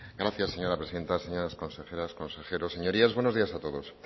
gracias señora presidenta señoras consejeras consejeros señorías buenos días a todos